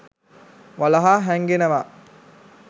වලහා හැංගෙනවා.